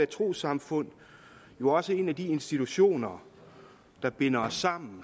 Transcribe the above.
trossamfund jo også en af de institutioner der binder os sammen